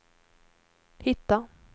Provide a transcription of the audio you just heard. hitta